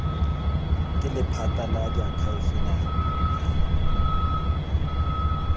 ke lephata la diakhaefe la